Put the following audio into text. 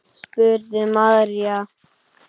spurði María.